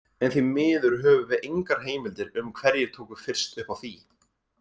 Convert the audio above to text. En því miður höfum við engar heimildir um hverjir tóku fyrst upp á því.